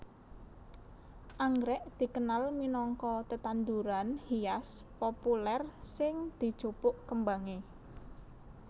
Anggrèk dikenal minangka tetanduran hias populèr sing dijupuk kembangé